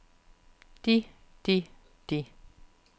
de de de